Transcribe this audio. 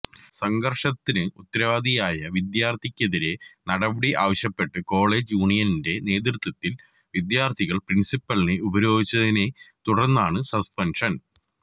സംഘര്ഷത്തിന് ഉത്തരവാദിയായ വിദ്യാര്ഥിക്കെതിരെ നടപടിയാവശ്യപ്പെട്ട് കോളജ് യൂനിയന്റെ നേതൃത്വത്തില് വിദ്യാര്ഥികള് പ്രിന്സിപ്പലിനെ ഉപരോധിച്ചതിനെ തുടര്ന്നാണ് സസ്പെന്ഷന്